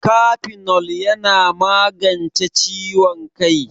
Kafenol yana magance ciwon kai